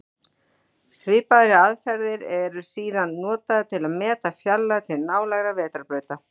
Svipaðar aðferðir eru síðan notaðar til að meta fjarlægð til nálægra vetrarbrauta.